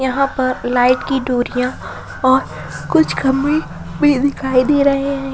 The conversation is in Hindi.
यहां पर लाइट की डोरिया और कुछ खंभे भी दिखाई दे रहे है।